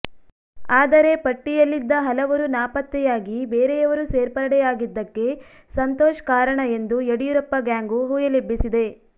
ಆದರೆ ಪಟ್ಟಿಯಲ್ಲಿದ್ದ ಹಲವರು ನಾಪತ್ತೆಯಾಗಿ ಬೇರೆಯವರು ಸೇರ್ಪಡೆಯಾಗಿದ್ದಕ್ಕೆ ಸಂತೋಷ್ ಕಾರಣ ಎಂದು ಯಡಿಯೂರಪ್ಪ ಗ್ಯಾಂಗು ಹುಯಿಲೆಬ್ಬಿಸಿದೆ